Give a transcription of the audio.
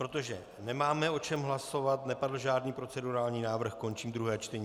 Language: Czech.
Protože nemáme o čem hlasovat, nepadl žádný procedurální návrh, končím druhé čtení.